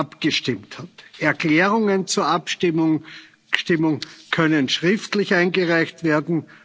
Punkt abgestimmt hat. Erklärungen zur Abstimmung können schriftlich eingereicht